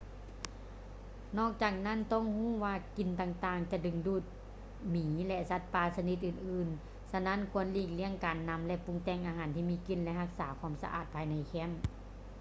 ນອກຈາກນັ້ນ ຕ້ອງຮູ້ວ່າກິ່ນຕ່າງໆຈະດຶງດູດ ໝີ ແລະ ສັດປ່າຊະນິດອື່ນໆ ສະນັ້ນຄວນຫລີກລ້ຽງການນຳ ຫຼື ປຸງແຕ່ງອາຫານທີ່ມີກິ່ນ ແລະ ຮັກສາຄວາມສະອາດພາຍໃນແຄັມ